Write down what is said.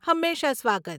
હંમેશા સ્વાગત.